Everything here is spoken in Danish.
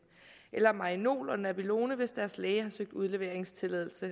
eller marinol og nabilone hvis deres læge har søgt udleveringstilladelse